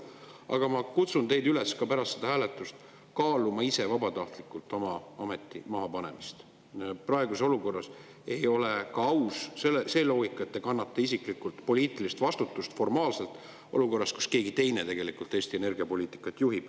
Aga ma kutsun teid üles pärast seda hääletust kaaluma vabatahtlikult oma ameti mahapanemist, praeguses olukorras ei ole aus see loogika, et te kannate formaalselt isiklikult poliitilist vastutust olukorras, kus keegi teine juhib tegelikult Eesti energiapoliitikat.